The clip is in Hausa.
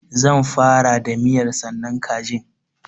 Zan fara da miya sannan kajin.